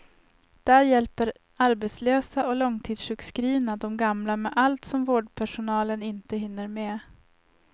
Där hjälper arbetslösa och långtidssjukskrivna de gamla med allt som vårdpersonalen inte hinner med.